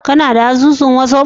Kana da asusun wazaf?